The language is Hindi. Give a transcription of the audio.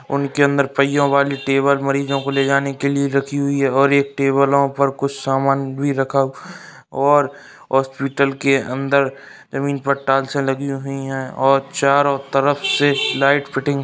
उनके अंदर पहियों वाली टेबल मरीजों को लेजाने के लिए रखी हुई है और एक टेबलों पर कुछ सामान भी रखा और हॉस्पिटल के अंदर जमीन पर टाइल्सें लगी हुई हैं और चारों तरफ से लाइट फिटिंग --